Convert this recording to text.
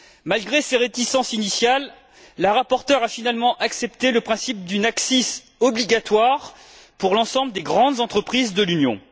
Malgré ses réticences initiales, la rapporteure a finalement accepté le principe d'une ACCIS obligatoire pour l'ensemble des grandes entreprises de l'Union.